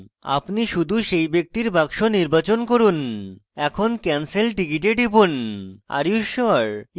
আপনি শুধু সেই ব্যক্তির box নির্বাচন করুন এখন cancel ticket এ টিপুন